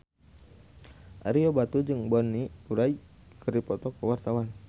Ario Batu jeung Bonnie Wright keur dipoto ku wartawan